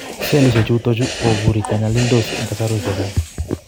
Sellishek chutok chu kobure konyalildos en kasarwek chechang